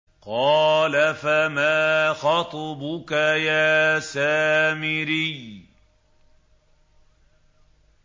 قَالَ فَمَا خَطْبُكَ يَا سَامِرِيُّ